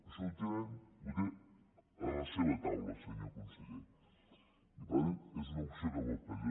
això ho té a la seva taula senyor conseller i per tant és una opció que pot prendre